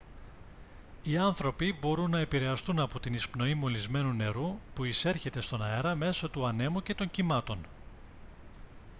οι άνθρωποι μπορούν να επηρεαστούν από την εισπνοή μολυσμένου νερού που εισέρχεται στον αέρα μέσω του ανέμου και των κυμάτων